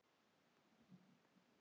Ég var ein þeirra heppnu.